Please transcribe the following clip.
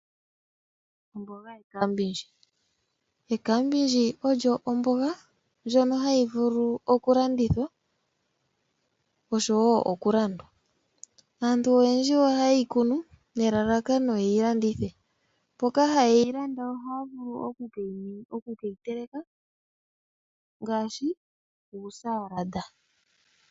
Omboga ohayi vulu okulandithwa oshowo okulandwa. Aantu oyendji ohaye yi kunu, nelalalkano ye yi landithe. Mboka haye yi landa ohaya vulu oku ke yi teleka osilaye.